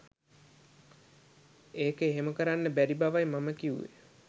ඒක එහෙම කරන්න බැරි බවයි මම කිව්වේ.